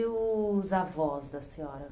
E os avós da senhora?